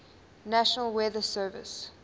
national weather service